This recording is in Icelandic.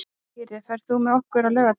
Dýri, ferð þú með okkur á laugardaginn?